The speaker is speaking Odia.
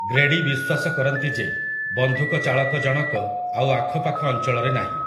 ଗ୍ରେଡି ବିଶ୍ୱାସ କରନ୍ତି ଯେ ବନ୍ଧୁକଚାଳକଜଣକ ଆଉ ଆଖପାଖ ଅଞ୍ଚଳରେ ନାହିଁ ।